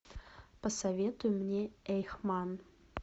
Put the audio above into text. посоветуй мне эйхман